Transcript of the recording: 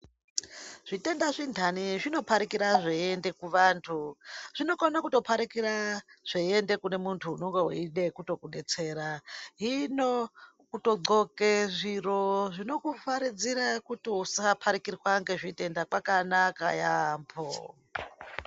Zvitenda zvendani zvinoparikira zveiienda kuvantu zvinokona kutoparikira zveiiende kune muntu unenge veide kutokubetsera. Hino kutodhloke zviro zvinokuvharidzira kuti usaparikirwa ngezvitenda kwakanaka yaamho.